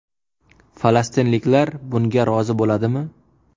Falastinliklar bunga rozi bo‘ladimi?